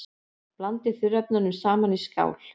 Blandið þurrefnunum saman í skál.